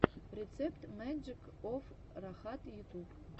рецепт маджик оф рахат ютуб